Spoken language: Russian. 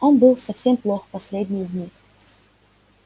он был совсем плох последние дни